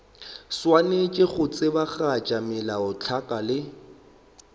swanetše go tsebagatša melaotlhakwa le